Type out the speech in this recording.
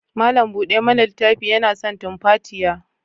Malam bude mana littafin yana son tumfatiya.